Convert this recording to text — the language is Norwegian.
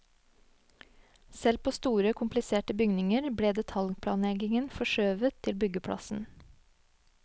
Selv på store kompliserte bygninger ble detaljplanleggingen forskjøvet til byggeplassen.